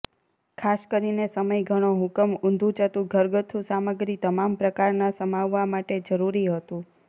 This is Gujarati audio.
ખાસ કરીને સમય ઘણો હુકમ ઊંધુંચત્તુ ઘરગથ્થુ સામગ્રી તમામ પ્રકારના સમાવવા માટે જરૂરી હતું